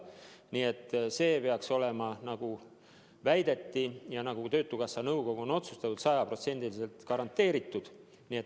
Nii et see peaks olema, nagu on väidetud ja nagu töötukassa nõukogu on otsustanud, sajaprotsendiliselt garanteeritud.